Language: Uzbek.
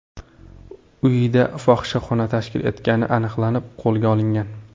uyida fohishaxona tashkil etgani aniqlanib, qo‘lga olingan.